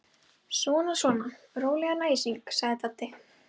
Svona svona, rólegan æsing sagði Dadda.